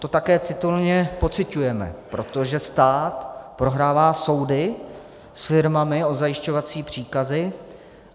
To také citelně pociťujeme, protože stát prohrává soudy s firmami o zajišťovací příkazy.